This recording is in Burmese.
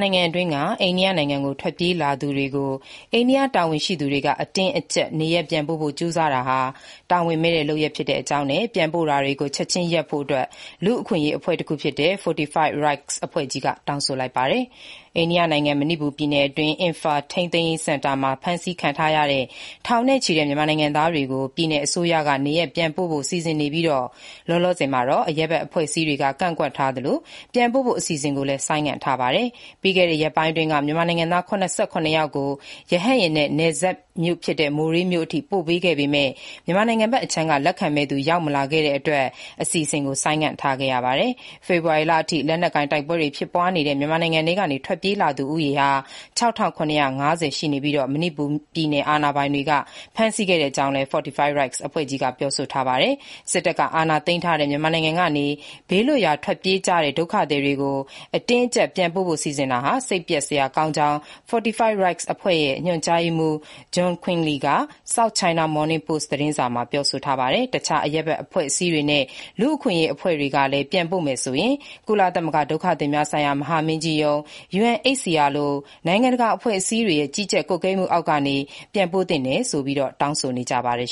နိုင်ငံအတွင်းကို ထွက်ပြေး ဝင်ရောက်လာသူတွေကို အိန္ဒိယတာဝန်ရှိသူတွေ အတင်းအကျပ် နေရပ်ပြန်ပို့ဖို့ ကြိုးစားတာဟာ တာဝန်မဲ့တဲ့ လုပ်ရပ် ဖြစ်တဲ့အကြောင်းနဲ့ ပြန်ပို့တာတွေ ချက်ချင်းရပ်ဖို့ လူ့အခွင့်အရေး အဖွဲ့တခုဖြစ်တဲ့ Fortify Rights အဖွဲ့ကြီးက တောင်းဆိုလိုက်ပါတယ်။ အိန္ဒိယနိုင်ငံ၊ မဏိပူပြည်နယ်မြို့တော် အင်ဖား ထိန်းသိမ်းရေးစင်တာမှာ ဖမ်းဆီးထားတဲ့ ထောင်နဲ့ချီတဲ့ မြန်မာနိုင်ငံသားတွေကို ပြည်နယ်အစိုးရက နေရပ်ပြန်ပို့ဖို့ စီစဉ်နေပြီး လောလောဆည်မှာတော့ အရပ်ဘက် အဖွဲ့အစည်းတွေက ကန့်ကွက်ထားသလို ပြန်ပို့ဖို့ အစီအစဉ်ကိုလည်း ဆိုင်းငံ့ထားပါတယ်။ ပြီးခဲ့တဲ့ ရက်ပိုင်းအတွင်းက မြန်မာနိုင်ငံသား ၇၇ ယောက်ကို ရဟတ်ယာဉ်နဲ့ နယ်စပ် မိုးရေးမြို့အထိ ပို့ပေးခဲ့ပေမဲ့ မြန်မာနိုင်ငံဘက်အခြမ်းက လက်ခံမယ့်သူ ရောက်မလာတဲ့အတွက် ပြန်ပို့မဲ့အစီအစဉ်ကို ဆိုင်းငံ့ထားခဲ့ပါတယ်။ ဖေဖေါ်ဝါရီလအထိ လက်နက်ကိုင် တိုက်ပွဲတွေ ဖြစ်ပွားနေတဲ့ မြန်မာနိုင်ငံထဲကနေ ထွက်ပြေးလာသူ ၆,၇၅၀ ကို မဏိပူပြည်နယ် အာဏာပိုင်တွေ ဖမ်းဆီးခဲ့တဲ့အကြောင်း Fortify Rights အဖွဲ့ကြီးက ပြောဆိုပါတယ်။ စစ်တပ်က အာဏာသိမ်းထားတဲ့ မြန်မာနိုင်ငံကနေ ဘေးလွတ်ရာ ထွက်ပြေးတဲ့ ဒုက္ခသည်တွေကို အတင်းအကျပ်ပြန်ပို့ဖို့ စီစဉ်တာဟာ စိတ်ပျက်စရာကောင်းတဲ့အကြောင်း Fortify Rights အဖွဲ့ကြီးရဲ့ ညွန်ကြားရေးမှူး John Quinley က South China Morning Post သတင်းစာကို ပြောဆိုပါတယ်။ တခြား အရပ်ဘက် အဖွဲ့အစည်းတွေနဲ့ လူ့အခွင့်အရေး အဖွဲ့တွေကလည်း ပြန်ပို့မယ်ဆိုရင် ကုလသမဂ္ဂ ဒုက္ခသည်များဆိုင်ရာ မဟာမင်းကြီးရုံး (UNHCR) လို နိုင်ငံတကာအဖွဲ့အစည်းတွေရဲ့ ကြီးကြပ် ကွပ်ကဲမှုအောက်ကနေ ပြန်ပို့ဖို့ တောင်းဆိုနေပါတယ်